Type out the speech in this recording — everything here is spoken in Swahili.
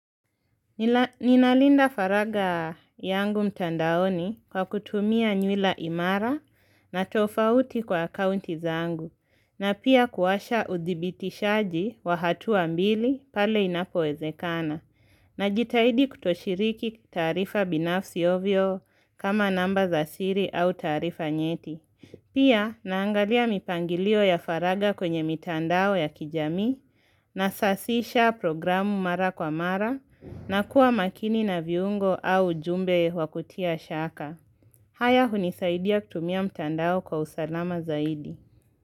Ninalinda faragha yangu mtandaoni kwa kutumia nywila imara. Na tofauti kwa akaunti zangu. Na pia kuwasha uthibishaji wa hatua mbili pale inapowezekana najitahidi kutoshiriki taarifa binafsi ovyo kama namba za siri au taarifa nyeti. Pia naangalia mipangilio ya faragha kwenye mitandao ya kijamii nasasisha programu mara kwa mara na kuwa makini na viungo au jumbe wa kutia shaka. Haya hunisaidia kutumia mtandao kwa usalama zaidi.